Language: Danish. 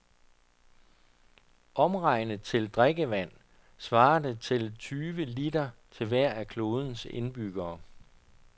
Omregnet til drikkevand svarer det til tyve liter til hver af klodens indbyggere.